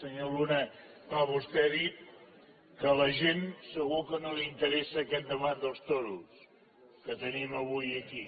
senyor luna clar vostè ha dit que a la gent segur que no li interessa aquest debat dels toros que tenim avui aquí